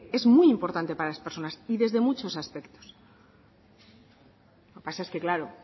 es muy importante para las personas y desde muchos aspectos lo que pasa es que claro